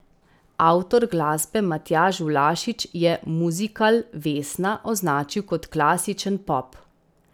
Avtor glasbe Matjaž Vlašič je muzikal Vesna označil kot klasičen pop.